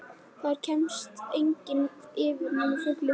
Þar kemst enginn yfir nema fuglinn fljúgandi.